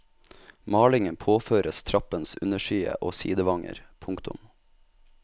Malingen påføres trappens underside og sidevanger. punktum